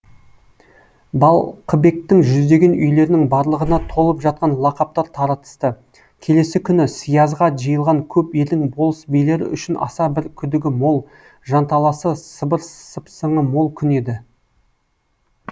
балқыбектің жүздеген үйлерінің барлығына толып жатқан лақаптар таратысты келесі күн сиязға жиылған көп елдің болыс билері үшін аса бір күдігі мол жанталасы сыбыр сыпсыңы мол күн еді